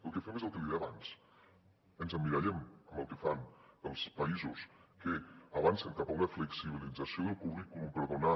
el que fem és el que li deia abans ens emmirallem amb el que fan els països que avancen cap a una flexibilització del currículum per donar